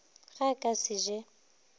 ge a ka se je